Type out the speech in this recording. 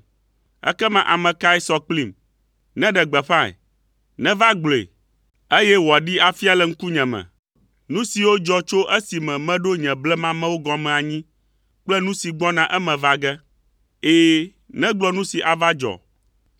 Ekema ame kae sɔ kplim? Neɖe gbeƒãe. Neva gblɔe, eye wòaɖee afia le ŋkunye me, nu siwo dzɔ tso esime meɖo nye blemamewo gɔme anyi kple nu si gbɔna eme va ge. Ɛ̃, negblɔ nu si ava dzɔ.